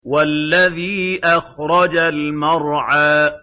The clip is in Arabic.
وَالَّذِي أَخْرَجَ الْمَرْعَىٰ